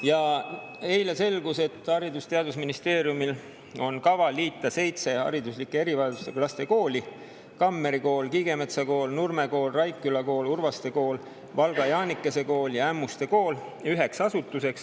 Ja eile selgus, et Haridus‑ ja Teadusministeeriumil on kavas liita seitse hariduslike erivajadustega laste kooli – Kammeri Kool, Kiigemetsa Kool, Nurme Kool, Raikküla Kool, Urvaste Kool, Valga Jaanikese Kool ja Ämmuste Kool – üheks asutuseks.